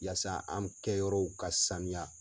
Yasa an kɛyɔrɔw ka sanuya.